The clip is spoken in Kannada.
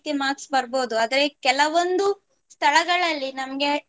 marks ಬರ್ಬಹುದು ಆದ್ರೆ ಕೆಲವೊಂದು ಸ್ಥಳಗಳಲ್ಲಿ ನಮ್ಗೆ